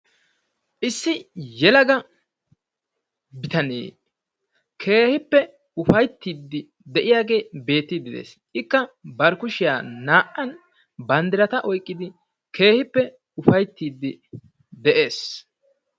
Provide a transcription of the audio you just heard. Issi yelaga bitanee keehippe ufayttiiddi de'iyagee beettiidi de'es. Ikka bari kushiya naa"an bandditata oyqqidi keehippe ufayttiiddi de'es.